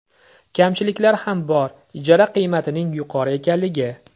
Kamchiliklar ham bor ijara qiymatining yuqori ekanligi.